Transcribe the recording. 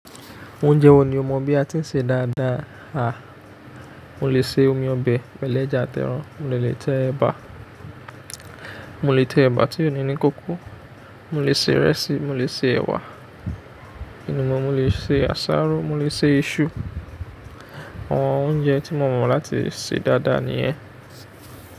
Oúnjẹ wo ni o mọ bí a ti ń ṣe dáadáa? A, mo lè ṣe omi ọbẹ̀ pẹ̀lú ẹja àti ẹran, mo lè tẹ ẹ̀bà, mo lè tẹ ẹ̀bà tí ò ní ní kókó, mo lè ṣe ìrẹsì, mo lè ṣe ẹ̀wà, inú mọ̀, mo lè ṣe àsáró, mo lè ṣe iṣu. Àwọn oúnjẹ tí mo mọ láti ṣe dáadáa nìyẹn.